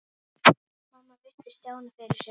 Mamma virti Stjána fyrir sér.